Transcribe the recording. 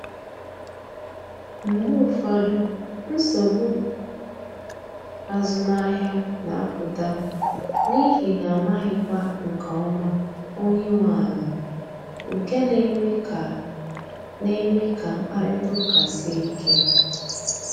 Mgbe ụfọdụ, nsogbu azụmahịa na apụta n’ihi na amaghịkwa nke ọma onye nwe ala, nke na eme ka na eme ka mkparịta ụka sie ike